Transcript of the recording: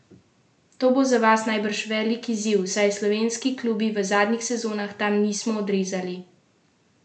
To bo za vas najbrž velik izziv, saj se slovenski klubi v zadnjih sezonah tam niso odrezali najbolje?